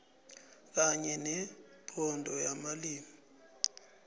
kanye nebhodo yamalimi